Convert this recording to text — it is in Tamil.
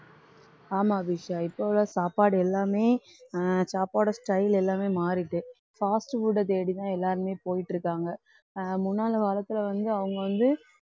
ஆமா அபிஷா இப்ப உள்ள சாப்பாடு எல்லாமே அஹ் சாப்பாடு style எல்லாமே மாறிட்டு காசு கூட தேடிதான் எல்லாருமே போயிட்டிருக்காங்க. அஹ் முன்னால காலத்துல வந்து அவங்க வந்து